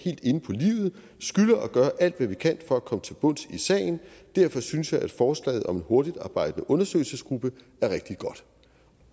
skylder at gøre alt hvad kan for at komme til bunds i sagen derfor synes jeg at forslaget om en hurtigtarbejdende undersøgelsesgruppe er rigtig godt